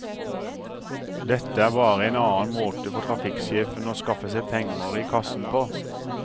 Dette er bare en annen måte for trafikksjefen å skaffe seg penger i kassen på.